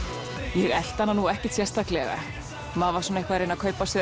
ég elti hana nú ekkert sérstaklega maður var svona eitthvað að reyna að kaupa sér